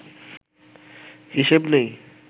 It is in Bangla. হিসেব নেই